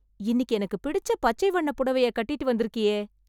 இன்னிக்கு எனக்கு பிடிச்ச பச்சை வண்ணப் புடவைய கட்டிட்டு வந்துருக்கியே...